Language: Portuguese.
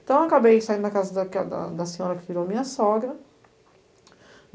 Então eu acabei saindo da casa da que da da senhora que virou minha sogra.